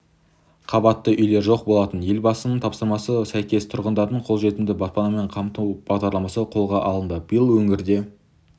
қабатты үйлер жоқ болатын елбасыныңтапсырмасына сәйкес тұрғындарды қолжетімді баспанамен қамту бағдарламасы қолға алынды биыл өңірде